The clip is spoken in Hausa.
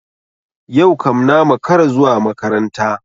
Yau kam na makara zuwa makaranta.